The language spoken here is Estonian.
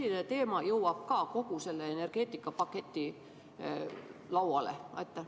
Kas see teema jõuab ka sellesse energeetikapaketti?